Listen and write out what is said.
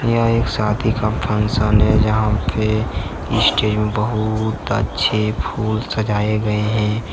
यह एक शादी का फंक्शन है जहां पे स्टेज में बहुत अच्छे फूल सजाए गए हैं।